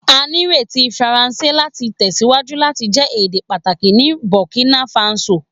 A nireti Faranse lati tẹsiwaju lati jẹ ede pataki ni Burkina Faso